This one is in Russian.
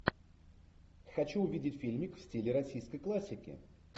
хочу увидеть фильмик в стиле российской классики